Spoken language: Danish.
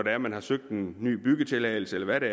at man har søgt en ny byggetilladelse eller hvad det